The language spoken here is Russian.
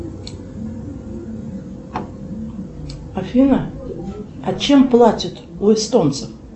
афина а чем платят у эстонцев